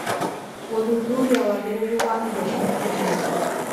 Gũthuthuria wagĩrĩru wa indo cia mũthingi.